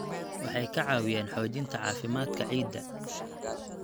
Waxay ka caawiyaan xoojinta caafimaadka ciidda.